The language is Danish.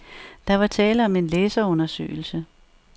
Der var tale om en læserundersøgelse.